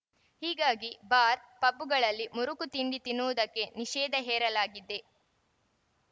ಹೀಗಾಗಿ ಬಾರ್‌ ಪಬ್‌ಗಳಲ್ಲಿ ಮುರುಕು ತಿಂಡಿ ತಿನ್ನುವುದಕ್ಕೆ ನಿಷೇಧ ಹೇರಲಾಗಿದೆ